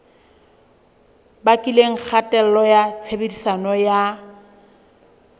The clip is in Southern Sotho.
bakileng kgatello ya tshebediso ya